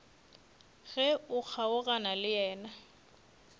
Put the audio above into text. ge o kgaogana le yena